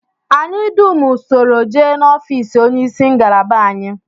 Anyị dum soro jee n'ofịịsị onyeisi ngalaba anyị